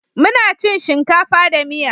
Muna cin shinkafa da miya.